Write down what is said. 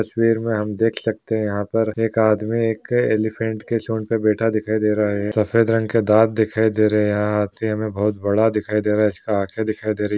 तस्वीर में हम देख सकते है यहाँ पर एक आदमी एक एलीफेंट की सूंड पे बैठा दिखाई दे रहा है सफेद रंग के दांत दिखाई दे रहे है हाथी हमें बहुत बड़ा दिखाई दे रहा है इसका आंखे दिखाई दे रही--